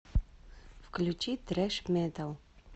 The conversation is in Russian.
включи трэш метал